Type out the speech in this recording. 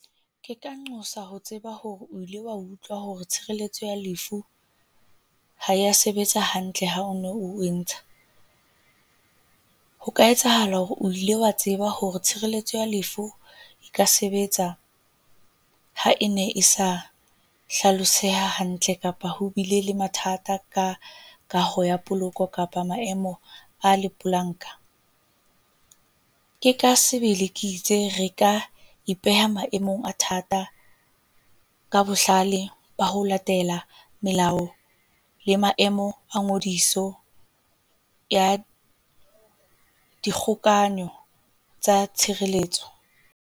Ke ka nqosa ho tseba hore o ile wa utlwa hore tshireletso ya lefu ha ya sebetsa hantle ha o no o e ntsha, ho ka etsahala hore o ile wa tseba hore tshireletso ya lefu e ka sebetsa ha e ne e sa hlaloseha hantle, kapa ho bile le mathata ka kaho ya poloko kapa maemo a lepolanka. Ke ka sebele ke itse re ka ipeha maemong a thata ka bohlale ba ho latela melao le maemo a ngodiso ya dikgokaanyo tsa tshireletso.